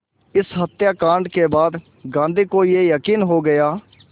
इस हत्याकांड के बाद गांधी को ये यक़ीन हो गया